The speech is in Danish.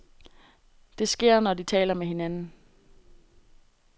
Det sker, når de taler med hinanden.